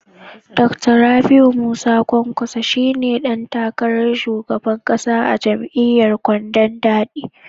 Dakta Rabiu Musa kwankwaso shi ne dan takarar shugaban kasa a jam'iyyar kwandon daɗi.